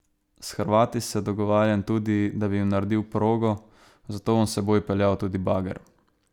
S Hrvati se dogovarjam tudi, da bi jim naredil progo, zato bom s seboj peljal tudi bager.